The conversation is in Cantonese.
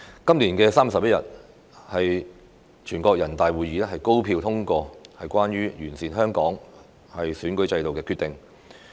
今年3月11日，全國人大會議高票通過《全國人民代表大會關於完善香港特別行政區選舉制度的決定》。